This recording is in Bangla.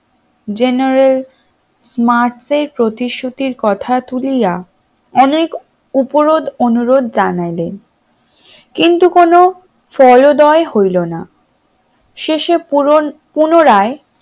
general mars এর প্রতিশ্রুতির কথা তুলিয়া অনেক উপরোধ অনুরোধ জানালেন কিন্তু কোন ফলদ্বয় হইল না শেষে পুনরায়